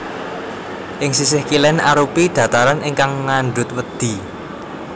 Ing sisih kilén arupi dhataran ingkang ngandhut wedhi